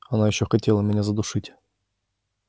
она ещё хотела меня задушить